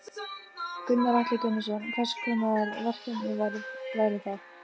Gunnar Atli Gunnarsson: Hvers konar verkefni væru það?